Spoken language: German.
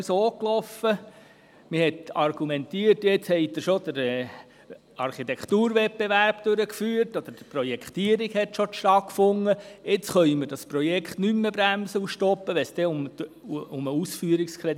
Es wurde, wenn es um den Ausführungskredit ging, immer argumentiert, die Projektierung der Architekturwettbewerbe sei bereits durchgeführt worden, weswegen das Projekt nicht mehr gestoppt werden könne.